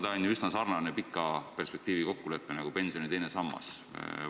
See on ju üsna sarnane pika perspektiiviga kokkulepe nagu pensioni teist sammast puudutav.